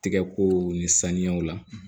Tigɛkow ni saniyaw la